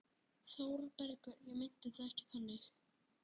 ÞÓRBERGUR: Ég meinti það ekki þannig.